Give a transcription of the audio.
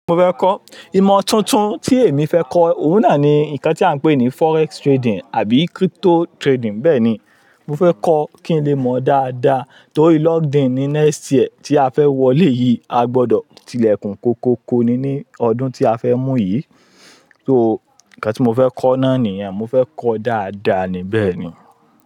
Mo fẹ́ kọ́. Ìmọ̀ tuntun tí èmi fẹ́ kọ́, òun náà ni nǹkan tí à ń pè ní Forex trading àbí crypto trading. Bẹ́ẹ̀ ni, mo fẹ́ kọ́ kí n lè mọ̀ dáadáa torí locked in ní next year tí a fẹ́ wọlé yìí, a gbọdọ̀ tilẹ̀kùn kókóko ni ní ọdún tí a fẹ́ mú yìí. So, nǹkan tí mo fẹ́ kọ́ náà nìyẹn, mo fẹ́ kọ́ dáadáa ni bẹ́ẹ̀ ni.